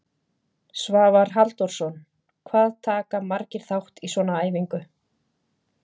Svavar Halldórsson: Hvað taka margir þátt í svona æfingu?